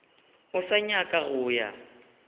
o sa nyaka go ya